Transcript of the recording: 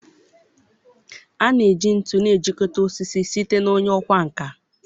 A na-eji ntu na-ejikọta osisi site na onye ọkwá nkà.